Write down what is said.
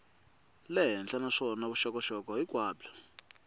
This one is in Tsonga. le henhla naswona vuxokoxoko hinkwabyo